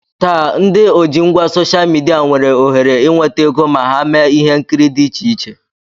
Taa, ndị ojingwa soshal midia nwere ohere inweta ego ma ha mee ihe nkiri dị iche iche